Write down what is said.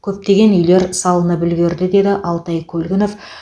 көптеген үйлер салынып үлгерді деді алтай көлгінов